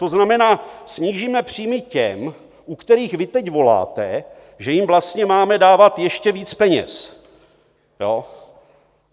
To znamená, snížíme příjmy těm, u kterých vy teď voláte, že jim vlastně máme dávat ještě víc peněz.